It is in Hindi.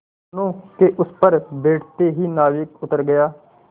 दोेनों के उस पर बैठते ही नाविक उतर गया